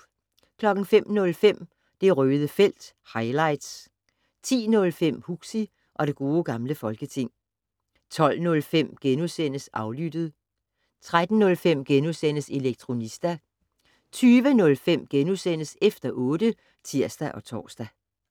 05:05: Det Røde felt - highlights 10:05: Huxi og det gode gamle folketing 12:05: Aflyttet * 13:05: Elektronista * 20:05: Efter otte *(tir-tor)